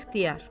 İxtiyar.